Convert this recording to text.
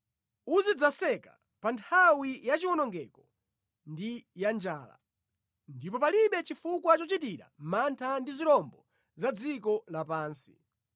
Uzidzaseka pa nthawi ya chiwonongeko ndi ya njala, ndipo palibe chifukwa chochitira mantha ndi zirombo za mʼdziko lapansi.